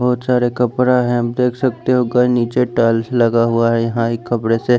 बहोत सारे कपड़ा हैं आप देख सकते हो नीचे टाइल्स लगा हुआ है यहां एक कपड़े से--